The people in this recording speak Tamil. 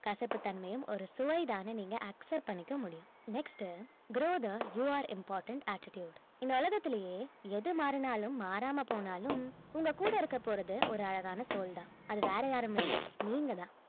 கசப்பு தன்மையும் ஒரு சுவைதான்னு நீங்க accept பண்ணிக்க முடியும் next grow the your important attitude இந்த உலகத்திலேயே எது மாறினாலும் மாறாமபோனாலும் உங்க கூட இருக்க போறது ஒரு அழகான soul தான் அது வேற யாரும் இல்ல நீங்க தான்